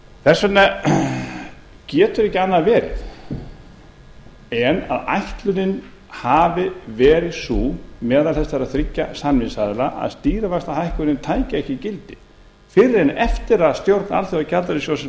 þess vegna getur ekki annað verið en ætlunin hafi verið sú meðal þessara þriggja samningsaðila að stýrivaxtahækkunin tæki ekki gildi fyrr en eftir að stjórn alþjóðagjaldeyrissjóðsins